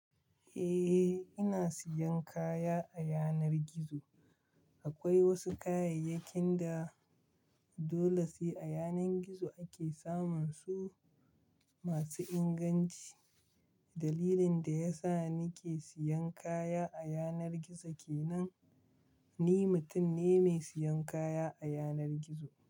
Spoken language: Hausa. Eh, ina siyan kaya a yanar gizo. Akwai wasu kayayyakin da dole sai a yanar gizo ake samun su masu inganci. Dalilin da yasa nike siyan kaya a yanar gizo kenan, ni mutum ne mai siyan kaya a yanar gizo.